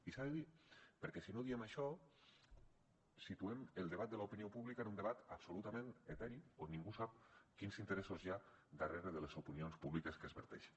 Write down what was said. i s’ha de dir perquè si no diem això situem el debat de l’opinió pública en un debat absolutament eteri on ningú sap quins interessos hi ha darrere de les opinions públiques que es donen